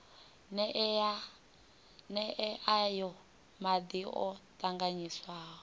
nee aya madi o tanganyiswaho